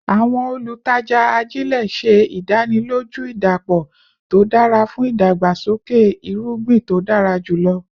Awọn olutaja ajile ṣe idaniloju idapọ to dara fun idagbasoke irugbin to dara julọ